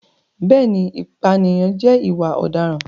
Bẹ́ẹ̀ni, ìpànìyàn jẹ́ ìwà ọ̀daràn.